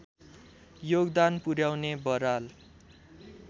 योगदान पुर्‍याउने बराल